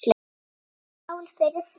Skál fyrir því.